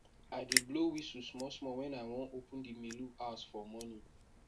i dey blow whisle small small wen i wan open the melu house for morning